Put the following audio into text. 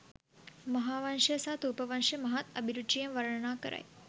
මහාවංශය සහ ථූපවංශය මහත් අභිරුචියෙන් වර්ණනා කරයි.